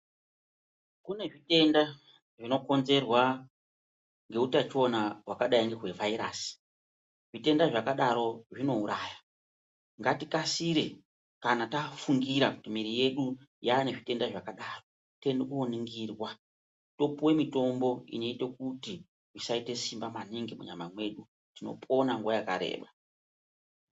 Kune zvitenda zvinokonzerwa ngeutachiona hwakadai ngehwevhairasi zvitenda zvakadaro zvinouraya ngatikasire kana tafungira kuti mwiri yedu yane zvitenda zvakadaro toende koningirwa topuwe mitombo inoite kuti isaite simba maningi munyama mwedu tinopona nguwa yakareba.